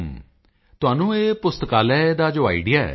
ਵਣੱਕਮ ਵਣੱਕਮ ਤੁਹਾਨੂੰ ਇਹ ਪੁਸਤਕਾਲਿਆ ਦਾ ਜੋ ਆਈਡੀਈਏ ਹੈ ਇਹ ਕਿਵੇਂ ਆਇਆ